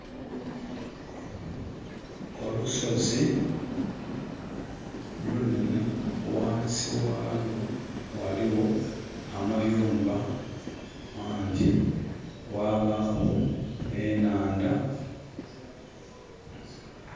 Olusozi lunhenhe. Ghansi ghalwo ghaligho amayumba mangyi, ghabagho enhandha.